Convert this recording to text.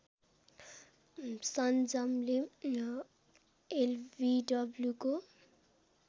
संजमले एलबिडब्लुको